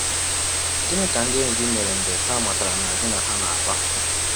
Gịnị ka ndị enyi gị mere mgbe ha matara na gị na Ha na - akpa?